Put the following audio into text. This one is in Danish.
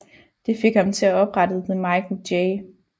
Det fik ham til at oprette The Michael J